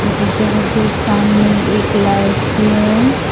गिरजाघर के सामने एक लाइट भी है।